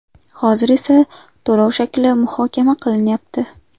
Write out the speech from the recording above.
Hozir esa to‘lov shakli muhokama qilinyapti.